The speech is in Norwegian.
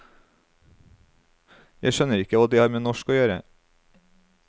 Jeg skjønner ikke hva det har med norsk å gjøre.